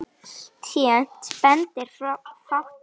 Alltént bendir fátt til þess.